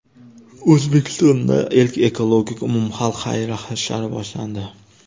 O‘zbekistonda ilk ekologik umumxalq xayriya hashari boshlandi.